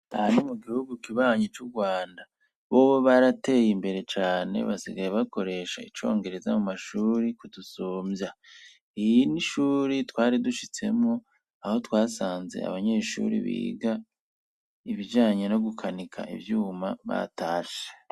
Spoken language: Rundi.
Ahani mu gihugu kibanye cu Rwanda boba barateye imbere cyane basigaye bakoresha icongereza mu mashuri kudusumbya iyi nishuri twari dushitsemo aho twasanze abanyeshuri biga ibijanye no gukanika ivyuma batashe.